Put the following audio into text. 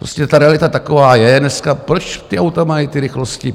Prostě ta realita taková je dneska, proč ta auta mají ty rychlosti?